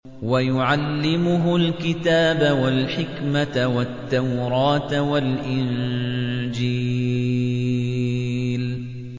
وَيُعَلِّمُهُ الْكِتَابَ وَالْحِكْمَةَ وَالتَّوْرَاةَ وَالْإِنجِيلَ